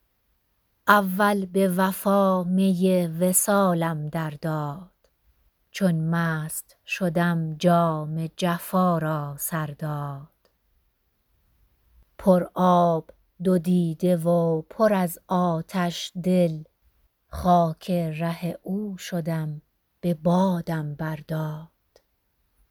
اول به وفا می وصالم درداد چون مست شدم جام جفا را سرداد پر آب دو دیده و پر از آتش دل خاک ره او شدم به بادم برداد